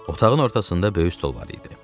Otağın ortasında böyük stol var idi.